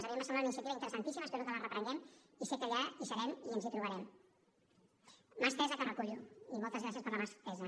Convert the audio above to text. a mi em va semblar una iniciativa interessantíssima espero que la reprenguem i sé que allà hi serem i ens hi trobarem mà estesa que recullo i moltes gracies per la mà estesa